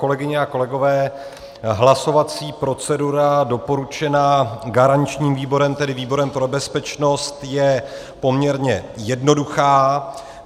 Kolegyně a kolegové, hlasovací procedura doporučená garančním výborem, tedy výborem pro bezpečnost, je poměrně jednoduchá.